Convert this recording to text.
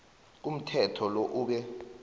komthetho lo ube